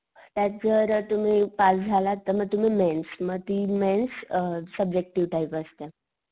त्यात जर तुम्ही पास झालात तर मग तुम्ही मेंस मग ती मेल्स अ सब्जेक्टिव्ह टाइप असते.